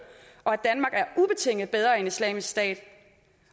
og at bedre end islamisk stat